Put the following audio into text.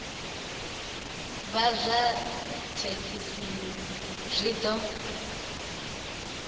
vha zwa thekinini zwi ḓo